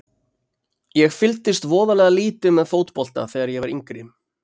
Ég fylgdist voðalega lítið með fótbolta þegar ég var yngri.